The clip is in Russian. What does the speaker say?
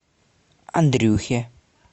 андрюхе